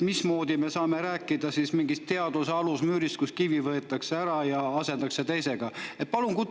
Mismoodi me saame rääkida siis mingist teaduse alusmüürist, kui sealt võetakse kivi ära ja asendatakse teisega?